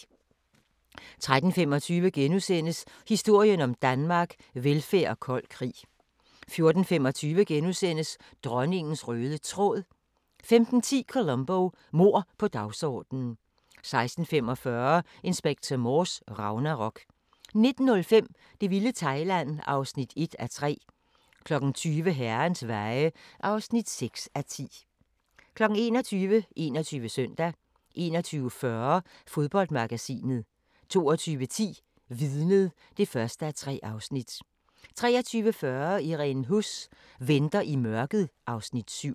13:25: Historien om Danmark: Velfærd og kold krig * 14:25: Dronningens røde tråd * 15:10: Columbo: Mord på dagsordenen 16:45: Inspector Morse: Ragnarok 19:05: Det vilde Thailand (1:3) 20:00: Herrens Veje (6:10) 21:00: 21 Søndag 21:40: Fodboldmagasinet 22:10: Vidnet (1:3) 23:40: Irene Huss: Venter i mørket (Afs. 7)